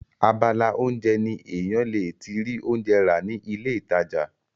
abala oúnjẹ ni èèyàn le ti rí oúnjẹ rà ní ilé ìtajà